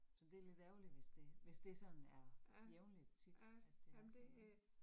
Så det lidt ærgerligt, hvis det hvis det sådan er jævnligt, tit, at det er så